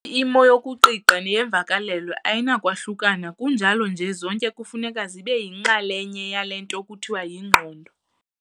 imo yokuqiqa and neyeemvakalelo ayinakwahlukana kunjalo nje zonke kufuneka zibeyinxalenye yale nto kuthiwa yingqondo.